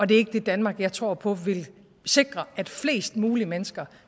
det er ikke det danmark jeg tror på vil sikre at flest mulige mennesker